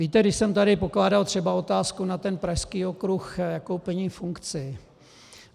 Víte, když jsem tady pokládal třeba otázku na ten pražský okruh, jakou plní funkci.